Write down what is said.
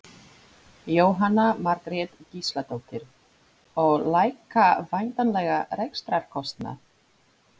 Jóhanna Margrét Gísladóttir: Og lækka væntanlega rekstrarkostnað?